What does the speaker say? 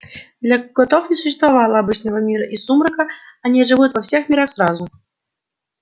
для котов не существовало обычного мира и сумрака они живут во всех мирах сразу